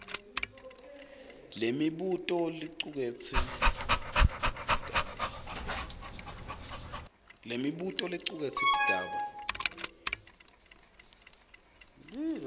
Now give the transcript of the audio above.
lemibuto licuketse tigaba